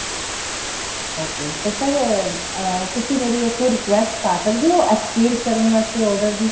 okay ਤੇ sir ਅਹ ਤੁਸੀਂ ਮੇਰੀ ਇੱਥੋਂ request ਪਾ ਸਕਦੇ ਓ exchange ਕਰਨ ਵਾਸਤੇ order ਦੀ